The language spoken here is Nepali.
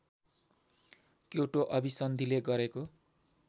क्योटो अभिसन्धिले गरेको